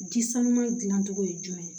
Ji sanuman gilan cogo ye jumɛn ye